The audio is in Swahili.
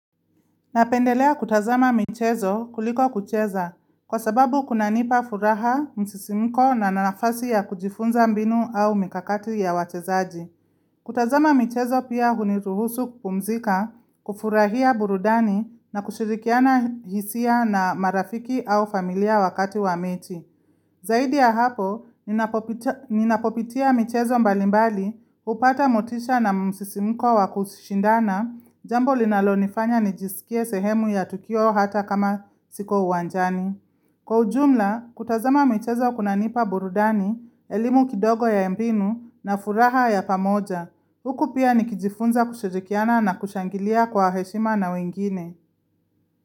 Napendelea kutazama michezo kuliko kucheza kwa sababu kunanipa furaha, msisimiko na nina nafasi ya kujifunza mbinu au mikakati ya wachezaji. Kutazama michezo pia huniruhusu kupumzika, kufurahia burudani na kushirikiana hisia na marafiki au familia wakati wa meti. Zaidi ya hapo, ninapopitia michezo mbalimbali, hupata motisha na msisimko wa kusishindana, jambo linalonifanya nijisikie sehemu ya tukio hata kama siko uwanjani. Kwa ujumla, kutazama michezo kunanipa burudani, elimu kidogo ya mpinu na furaha ya pamoja. Huku pia nikijifunza kushirikiana na kushangilia kwa heshima na wengine.